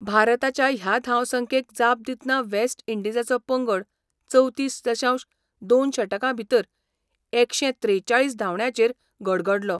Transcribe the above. भारताच्या ह्या धावसंख्येक जाप दितना वेस्ट इंडीजाचो पंगड चवतीस दशांश दोन षटकां भितर एकशे त्रेचाळीस धांवड्यांचेर गडगडलो.